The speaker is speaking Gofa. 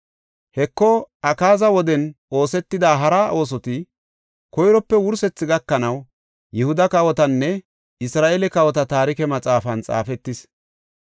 Heko, Akaaza woden oosetida hara oosoti koyrope wursethi gakanaw Yihuda kawotanne Isra7eele kawota taarike maxaafan xaafetis.